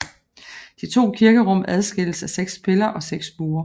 De to kirkerum adskilles af seks piller og seks buer